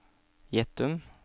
Gjettum